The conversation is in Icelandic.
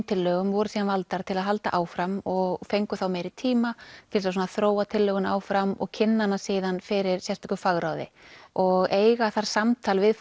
tillögum voru síðan valdar til að halda áfram og fengu þá meiri tíma til þess að þróa tillöguna áfram og kynna hana síðan fyrir sérstöku fagráði og eiga þar samtal við